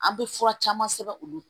An bɛ fura caman sɛbɛn u bolo